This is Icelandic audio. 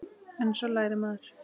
En svo lærir maður.